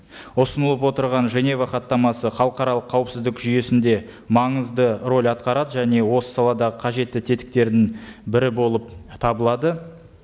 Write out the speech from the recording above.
ұсынылып отырған женева хаттамасы халықаралық қауіпсіздік жүйесінде маңызды рөл атқарады және осы саладағы қажетті тетіктердің бірі болып табылады